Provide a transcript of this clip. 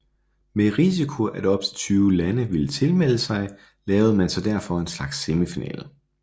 Med risiko at op til 20 lande ville tilmelde sig lavede man derfor en slags semifinale